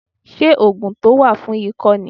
Ṣé ògùn tó wà fún ikọ́ ni